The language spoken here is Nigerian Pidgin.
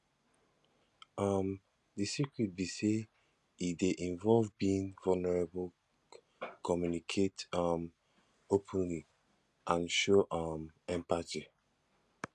um di secret be say e dey involve being vulnerable communicate um openly and show um empathy